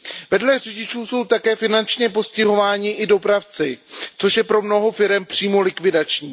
Vedle řidičů jsou také finančně postihováni i dopravci, což je pro mnoho firem přímo likvidační.